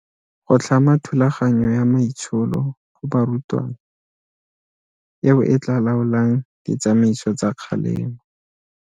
Go tlhama thulaganyo ya maitsholo go barutwana eo e tla laolang ditsamaiso tsa kgalemo.